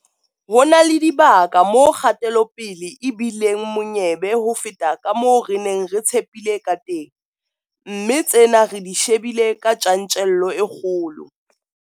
Ho na le dibaka moo kgatelopele e bi leng monyebe ho feta ka moo re neng re tshepile kateng, mme tsena re di shebile ka tjantjello e kgolo.